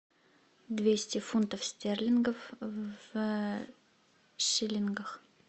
двести фунтов стерлингов в шиллингах